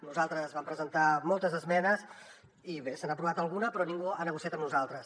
nosaltres vam presentar moltes esmenes i bé se n’ha aprovat alguna però ningú ha negociat amb nosaltres